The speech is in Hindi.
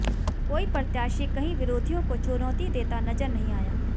कोई प्रत्याशी कहीं विरोधियों को चुनौती देता नजर नहीं आया